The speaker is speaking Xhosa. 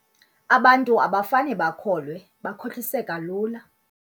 Abantu abafane bakholwe bakhohliseka lula.